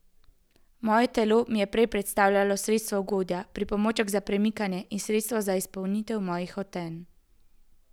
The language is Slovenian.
Moje telo mi je prej predstavljalo sredstvo ugodja, pripomoček za premikanje ali sredstvo za izpolnitev mojih hotenj.